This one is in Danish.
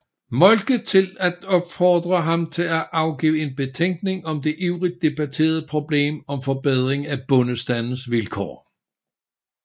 Moltke til at opfordre ham til at afgive en betænkning om det ivrigt debatterede problem om forbedring af bondestandens vilkår